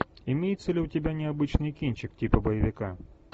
имеется ли у тебя необычный кинчик типа боевика